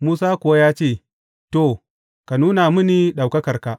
Musa kuwa ya ce, To, ka nuna mini ɗaukakarka.